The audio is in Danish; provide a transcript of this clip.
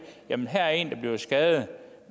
at her er en der bliver skadet